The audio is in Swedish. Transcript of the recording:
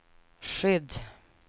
skydd